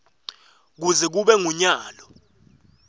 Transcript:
kuze kube ngunyalo